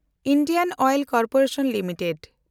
Indian oil corporation limited